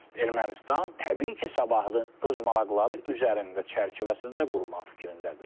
Ermənistan təbii sabahını öz maraqları üzərində çərçivəsində qurmaq fikrindədir.